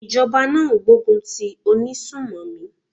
Ìjọba náà ń gbógun ti àwọn onísùnmọ̀mí.